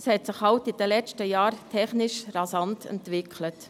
es hat sich halt in den letzten Jahren technisch rasant entwickelt.